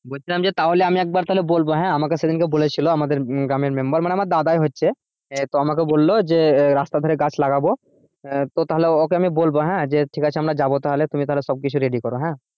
বলছিলাম যে তাহলে আমি একবার তাহলে বলবো হ্যাঁ? আমাকে সেইদিন কে বলেছিলো মানে আমাদের গ্রামের member মানে আমার দাদাই হচ্ছে তো আমাকে বললো যে রাস্তার ধরে গাছ লাগাবো আহ তো তাহলে ওকে আমি বলবো হ্যাঁ? যে ঠিকাছে আমরা যাবো তাহলে তুমি তাহলে সব কিছু ready করো হ্যাঁ?